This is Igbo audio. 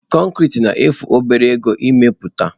Konkiri na-efu obere ego ime puta.